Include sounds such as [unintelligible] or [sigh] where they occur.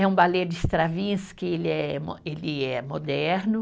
É um balé de, [unintelligible] ele é mo, ele é moderno.